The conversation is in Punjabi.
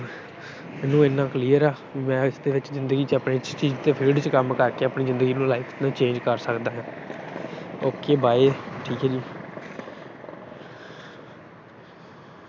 ਮੈਨੂੰ ਇੰਨਾ clear ਆ, ਮੈਂ ਇਸ ਚ ਜਿੰਦਗੀ ਚ ਆਪਣੇ ਇਸ field ਚ ਕੰਮ ਕਰਕੇ ਆਪਣੀ ਜਿੰਦਗੀ ਨੂੰ life ਨੂੰ change ਕਰ ਸਕਦਾ। OK bye ਠੀਕ ਆ ਜੀ।